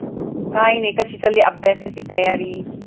काय नाही, कशी चालली अभ्यासाची तयारी?